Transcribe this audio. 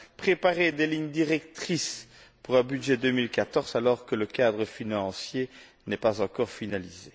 Préparer des lignes directrices pour un budget 2014, alors que le cadre financier n'est pas encore finalisé.